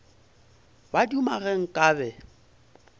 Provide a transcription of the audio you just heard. ba duma ge nka be